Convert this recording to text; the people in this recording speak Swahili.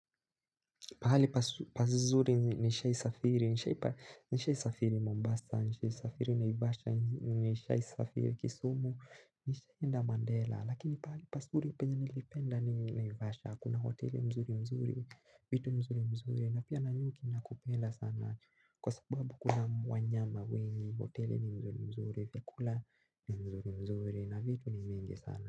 Pahali pazuri nishai safiri, nishai safiri Mombasa, nishai safiri naivasha, nishai safiri kisumu, nishai enda Mandela, lakini pahali pasuri penye nilipenda naivasha, kuna hoteli mzuri mzuri, vitu mzuri mzuri, na pia nanyuki nakupenda sana, kwa sababu kuna wanyama wengi, hoteli ni mzuri mzuri, vyakula ni mzuri mzuri, na vitu ni mingi sana.